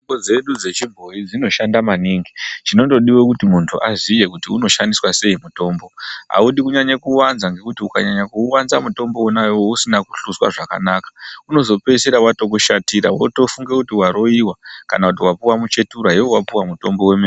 Mutombo dzedu dzichibhoyi dzinoshanda maningi. Chinongodiwa chete ngechekuti munhu aziye kuti unoshandiswa sei. Mutombo awudi kunyanya kuwanza ngekuti ukawanza mutombo usina kuhloswa zvakanaka unozopeisira wotokushatira, wotofunga kuti waroiwa kana kuti wapuwa muchetura, iwewe wapuwa mutombo wemene